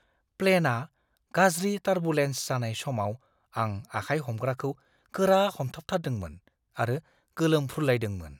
प्लेनआ गाज्रि टारबुलेन्स जानाय समाव आं आखाइ हमग्राखौ गोरा हमथाबथारदोंमोन आरो गोलोमफ्रुलायदोंमोन।